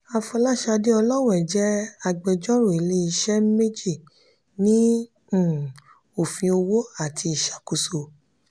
afolasade olowe jẹ́ agbẹjọ́rò ilé-iṣẹ́ méjì ní um òfin òwò àti ìṣàkóso.